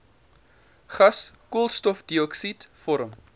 gas koolstofdioksied vorm